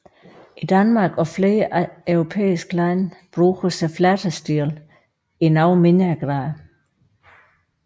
I Danmark og flere andre europæiske lande bruges flatestilen i noget mindre grad